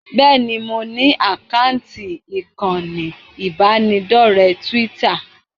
Bẹ́ẹ̀ni, mo ní àkáǹtì ìkànnì ìbánidọ́rẹ̀ẹ́ Twitter